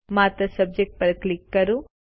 માત્ર સબ્જેક્ટ પર ક્લિક કરો